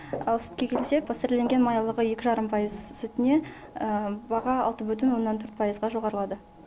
ал сүтке келсек пастерленген майлылығы екі жарым пайыз сүтіне баға алты бүтін оннан төрт пайызға жоғарылады